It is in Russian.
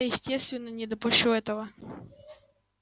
я естественно не допущу этого